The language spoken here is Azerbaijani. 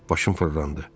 Başım fırlandı.